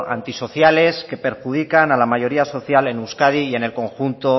antisociales que perjudican a la mayoría social en euskadi y en el conjunto